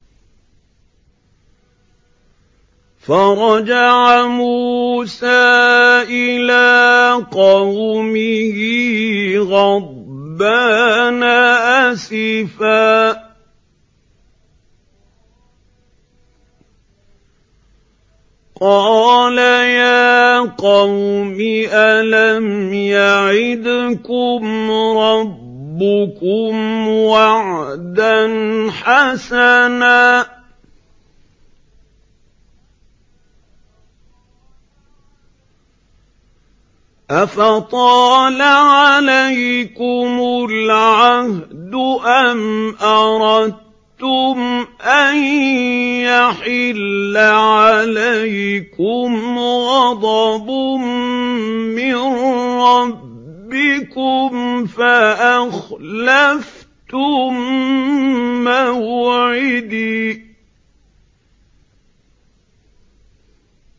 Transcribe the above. فَرَجَعَ مُوسَىٰ إِلَىٰ قَوْمِهِ غَضْبَانَ أَسِفًا ۚ قَالَ يَا قَوْمِ أَلَمْ يَعِدْكُمْ رَبُّكُمْ وَعْدًا حَسَنًا ۚ أَفَطَالَ عَلَيْكُمُ الْعَهْدُ أَمْ أَرَدتُّمْ أَن يَحِلَّ عَلَيْكُمْ غَضَبٌ مِّن رَّبِّكُمْ فَأَخْلَفْتُم مَّوْعِدِي